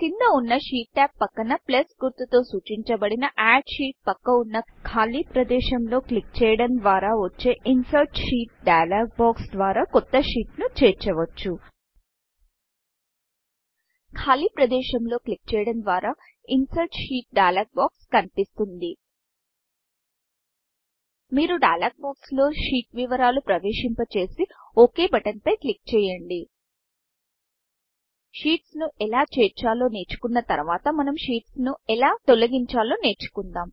కింద వున్న sheet tab పక్కన ప్లస్ గుర్తు తో సూచించబడిన అడ్ షీట్ ఆడ్ షీట్పక్క వున్న ఖాలీ ప్రదేశం లో క్లిక్ చేయడం ద్వార వచ్చే insert sheet dialog box insert sheet dialog బాక్స్ద్వారా కొత్త షీట్ ను చేర్చవచ్చు ఖాలీ ప్రదేశం లో క్లిక్ చేయడం ద్వారా insert sheet dialog box insert sheet dialog బాక్స్కనిపిస్తుంది మీరు డైలాగ్ బాక్స్ డైయలోగ్ బాక్స్లో sheetషీట్ వివరాలు ప్రవేశింప చేసి ఒక్ బటన్ ఓక్ బటన్పై క్లిక్ చేయండి sheetsషీట్స్ ను ఎలా చేర్చాలో నేర్చుకున్న తర్వాత మనం షీట్స్ షీట్స్ను ఎలా తొలగించాలో నేర్చుకుందాం